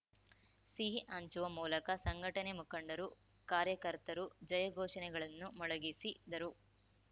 ಸಿಹಿ ಹಂಚುವ ಮೂಲಕ ಸಂಘಟನೆ ಮುಖಂಡರು ಕಾರ್ಯಕರ್ತರು ಜಯಘೋಷನೆಗಳನ್ನು ಮೊಳಗಿಸಿದರು